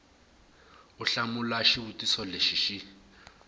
u hlamula xivutiso lexi xi